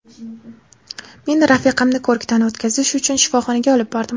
Men rafiqamni ko‘rikdan o‘tkazish uchun shifoxonaga olib bordim.